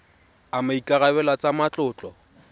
a maikarebelo a tsa matlotlo